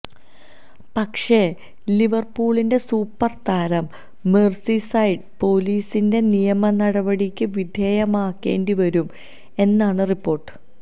പക്ഷേ ലിവര്പൂളിന്റെ സൂപ്പര് താരം മെര്സിസൈഡ് പൊലീസിന്റെ നിയമനടപടിക്ക് വിധേയമാകേണ്ടി വരും എന്നാണ് റിപ്പോര്ട്ട്